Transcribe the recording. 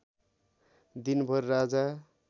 दिनभर राजा